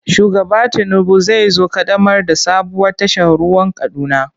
Shugaba Tinubu zai zo ƙaddamar da sabuwar tashar ruwan Kaduna.